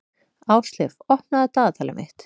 Ásleif, opnaðu dagatalið mitt.